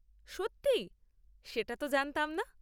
সত্যি? সেটা তো জানতাম না।